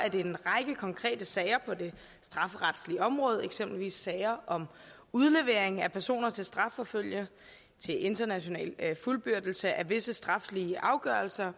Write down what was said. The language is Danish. at en række konkrete sager på det strafferetlige område eksempelvis sager om udlevering af personer til strafforfølgning til international fuldbyrdelse af visse straflige afgørelser